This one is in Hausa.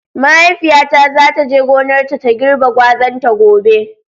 Mahaifiyata za ta je gonarta ta girbe gwazan ta gobe.